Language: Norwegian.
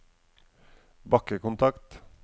bakkekontakt